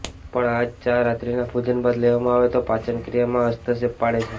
પણ આ જ ચા રાત્રીના ભોજન બાદ લેવામાં આવે તો પાચનક્રિયામાં હસ્તક્ષેપ પાડે છે